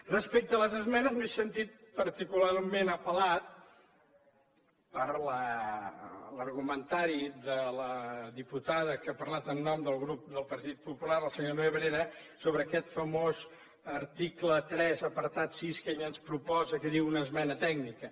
respecte a les esmenes m’he sentit particularment apellat per l’argumentari de la diputada que ha parlat en nom del grup del partit popular la senyora nebrera sobre aquest famós article tres apartat sis que ella ens proposa que en diu una esmena tècnica